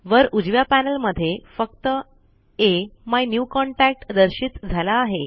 वर उजव्या पैनल मध्ये फक्त अमिन्यूकॉन्टॅक्ट दर्शित झाला आहे